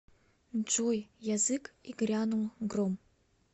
джой язык и грянул гром